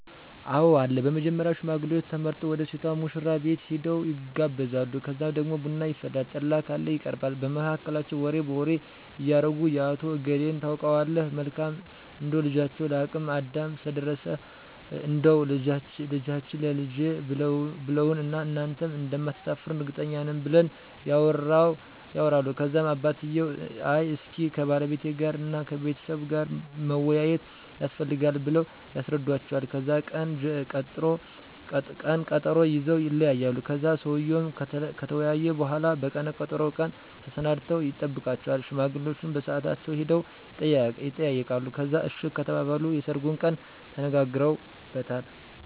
አወ አለ በመጀመሪያ ሽማግሌዎች ተመርጠው ወደ ሴቷ ሙሽራቤት ሄደው ይጋባሉ ከዛ ደግሞ ቡና ይፈላል ጠላ ካለ ይቀርባል በመሀከላቸው ወሬ በወሬ እያረጉ የአቶ እገሌን ታውቀዋለህ መልካም እንደው ልጃቸው ለአቅመ አዳም ስለደረሰ እንዳው ልጃችህን ላልጄ ብለውዋን እና እናንተም እንደማታሰፍሩን እርግጠኞች ነን ብለው ያወራሉ ከዛም አባትየው አይ እስኪ ከባለቤቴ ጋር እና ከቤተሰቡ ጋር መወያያት የስፈልጋል ብለው ያስረዱዎቸዋል ከዛን ቀነ ቀጠሮ ይዘወ ይለያያሉ ከዛን ሰውየው ከተወያየ በሁላ በቀነ ቀጠሮው ቀን ተሰናድተው ይጠብቃቸዋል ሽማግሌዎቸ በሳአታቸው ሄደው የጠይቃሉ ከዛን አሺ ከተባሉ የሰርጉን ቀን ተነጋግረውበታል